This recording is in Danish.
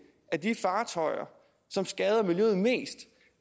af de fartøjer som skader miljøet mest